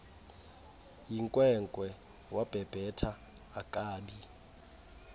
yinkwenkwe wabhebhetha akabi